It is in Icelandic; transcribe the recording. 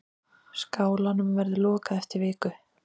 Skálanum verður lokað eftir viku.